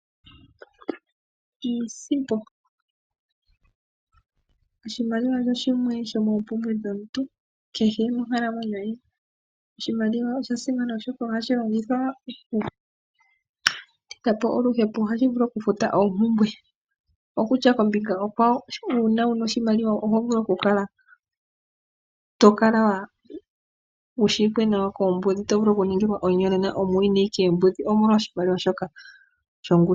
Iisimpo, oshimaliwa osho shimwe shomo mpumbwe dhomuntu kehe monkalamwenyo ye. Oshimaliwa osha simana oshoka ohashi longithwa oku tidhapo oluhepo, ohashi vulu oku futa oompumbwe, ashike kombinga onkwawo una wuna oshimaliwa oto kala wushiwike nawa koombudhi nota dhi vulu oku kuningila omuyonena omolwa oshimaliwa shoka.